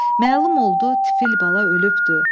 Məlum oldu, tifil bala ölübdü.